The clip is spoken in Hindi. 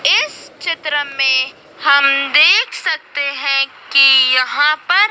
इस चित्र में हम देख सकते हैं कि यहां पर--